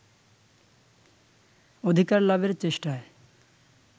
অধিকার লাভের চেষ্টায়